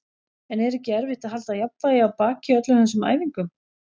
En er ekki erfitt að halda jafnvægi á baki í öllum þessum æfingum?